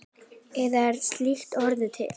Eða er slíkt orð til?